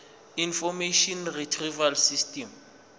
information retrieval system